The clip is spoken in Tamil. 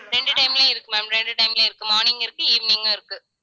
ரெண்டு time லயும் இருக்கு ma'am ரெண்டு time லயும் இருக்கு morning இருக்கு evening ம் இருக்கு